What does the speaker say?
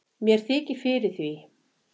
mér þykir fyrir því